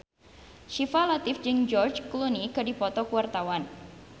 Syifa Latief jeung George Clooney keur dipoto ku wartawan